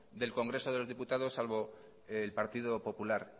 del congreso de diputados salvo el partido popular